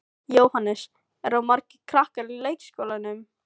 Jóhannes: Eru margir krakkar í leikskólanum?